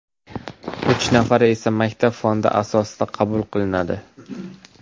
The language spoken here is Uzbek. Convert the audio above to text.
Uch nafari esa maktab fondi asosida qabul qilinadi.